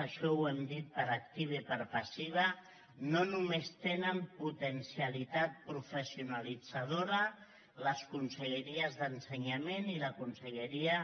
això ho hem dit per activa i per passiva no només tenen potencialitat professionalitzadora la conselleria d’ensenyament i la conselleria